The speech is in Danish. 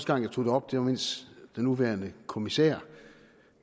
gang jeg tog det op var mens den nuværende kommissær